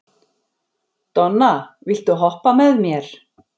Donna, viltu hoppa með mér?